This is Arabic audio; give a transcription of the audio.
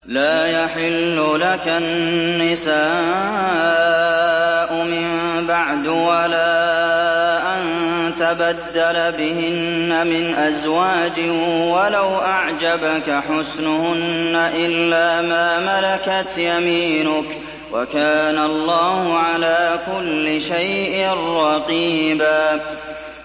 لَّا يَحِلُّ لَكَ النِّسَاءُ مِن بَعْدُ وَلَا أَن تَبَدَّلَ بِهِنَّ مِنْ أَزْوَاجٍ وَلَوْ أَعْجَبَكَ حُسْنُهُنَّ إِلَّا مَا مَلَكَتْ يَمِينُكَ ۗ وَكَانَ اللَّهُ عَلَىٰ كُلِّ شَيْءٍ رَّقِيبًا